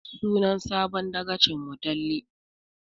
Sunan sabon dagacin mu Talle